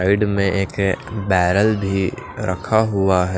side में एक barrel भी रखा हुआ है--